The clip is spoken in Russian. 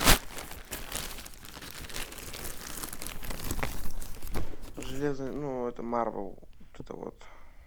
железный ну это марвел вот это вот